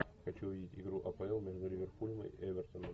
хочу увидеть игру апл между ливерпулем и эвертоном